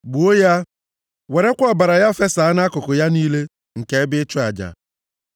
Gbuo ya. Werekwa ọbara ya fesaa nʼakụkụ ya niile nke ebe ịchụ aja.